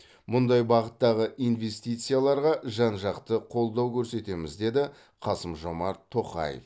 мұндай бағыттағы инвестицияларға жан жақты қолдау көрсетеміз деді қасым жомарт тоқаев